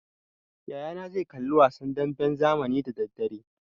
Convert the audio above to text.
Yaya na zai kalli wasan damben zamani da daddare.